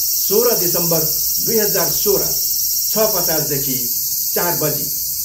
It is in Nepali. सोह्र दिसम्बर दुई हजार सोह्र, छ पचासदेखि चार बजी